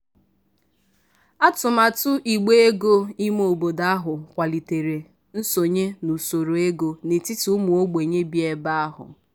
atụmatụ igbe ego ime obodo ahụ kwalitere nsonye n'usoro ego n'etiti ụmụ ogbenye bi ebe ahụ.